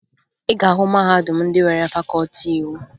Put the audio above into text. Ị ga-ahụ mahadum ndị nwere fakọọti iwu